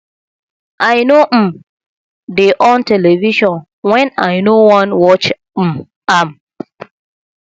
i no um dey on television wen i no wan watch um am